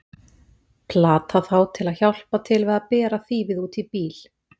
Platað þá til að hjálpa til við að bera þýfið út í bíl!